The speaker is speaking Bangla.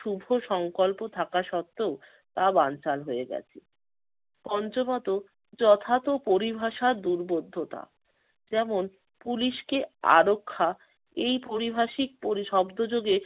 শুভ সংকল্প থাকাত্ত্বেও তা বানচাল হয়ে গেছে। পঞ্চমত যথার্থ পরিভাষার দুর্বোধ্যতা। যেমন পুলিশকে আরক্ষা এই পারিভাষিক পরি-শব্দযোগে